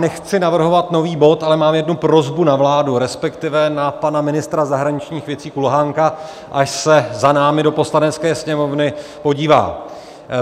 Nechci navrhovat nový bod, ale mám jednu prosbu na vládu, respektive na pana ministra zahraničních věcí Kulhánka, až se za námi do Poslanecké sněmovny podívá.